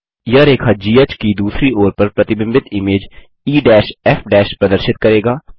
यह रेखा घ की दूसरी ओर पर प्रतिबिंबित इमेज ईएफ प्रदर्शित करेगा